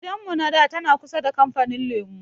Gidan mu na da tana kusa da kamfanin lemu